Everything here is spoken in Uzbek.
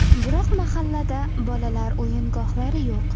Biroq mahallada bolalar o‘yingohlari yo‘q.